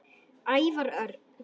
Ævar Örn